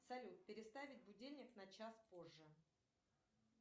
салют переставить будильник на час позже